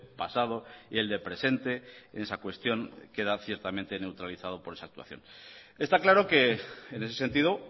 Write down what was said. pasado y el de presente en esa cuestión queda ciertamente neutralizado por esa actuación está claro que en ese sentido